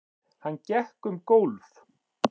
Hann gekk um gólf.